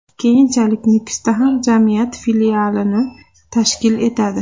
Keyinchalik Nukusda ham jamiyat filialini tashkil etadi.